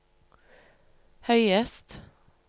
høyest